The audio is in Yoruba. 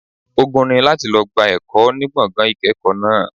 Ogun ni láti lọ gba ẹ̀kọ́ ní gbọ̀ngàn ìkẹ́kọ̀ọ́ náà.